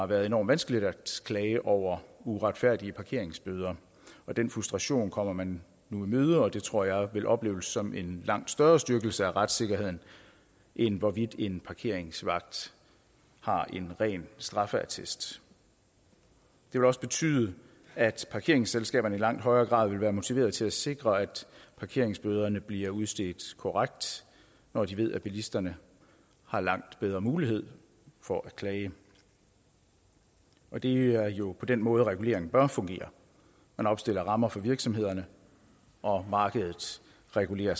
været enormt vanskeligt at klage over uretfærdige parkeringsbøder den frustration kommer man nu i møde og det tror jeg vil opleves som en langt større styrkelse af retssikkerheden end hvorvidt en parkeringsvagt har en ren straffeattest det vil også betyde at parkeringsselskaberne i langt højere grad vil være motiveret til at sikre at parkeringsbøderne bliver udstedt korrekt når de ved at bilisterne har langt bedre mulighed for at klage og det er jo på den måde regulering bør fungere man opstiller rammer for virksomhederne og markedet regulerer